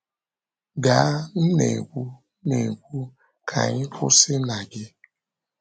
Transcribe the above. “Gaa, m na-ekwu, na-ekwu, ka anyị kwụsị na gị.”